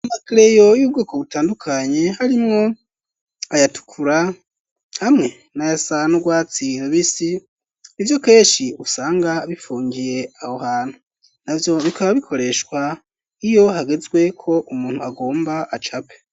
Amakleyo y'ubwoko butandukanye ,harimwo ayatukura ,hamwe n'ayasa nurwatsira bisi ,ivyo keshi usanga bifungiye aho hantu, navyo bikaba bikoreshwa iyo hagezwe ko umuntu agomba acape.